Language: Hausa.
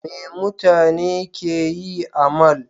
Me mutane ke yi a mall?